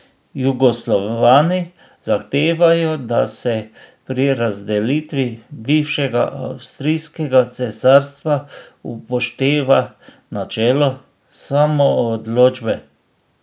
Jugoslovani zahtevajo, da se pri razdelitvi bivšega avstrijskega cesarstva upošteva načelo samoodločbe...